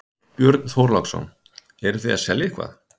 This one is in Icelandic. Björn Þorláksson: Eruð þið að selja eitthvað?